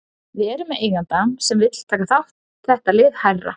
Við erum með eiganda sem vill taka þetta lið hærra.